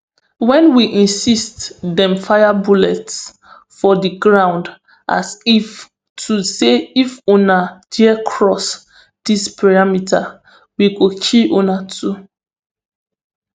wen we insist dem fire bullets for di ground as if to say if una dare cross dis perimeter we go kill una too